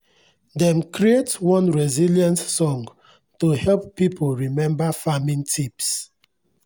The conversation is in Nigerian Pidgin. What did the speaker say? dem create one resilience song to help people remember farming tips.